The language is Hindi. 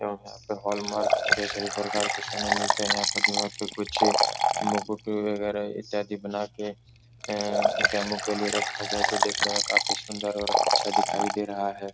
एवं यहाँ पे हॉलमार्क के सभी प्रकार के सोने मिलते हैं। यहाँ पर दीवार पे कुछ मुकुट वगैरा इत्यादि बना के अअअ डेमो के लिए रखा गया है जो देखने में काफ़ी सुन्दर और अच्छा दिखाई दे रहा है।